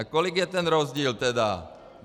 A kolik je ten rozdíl tedy?